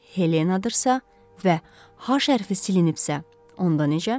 Helenadırsa və H hərfi silinibsə, onda necə?